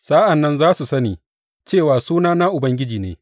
Sa’an nan za su sani cewa sunana Ubangiji ne.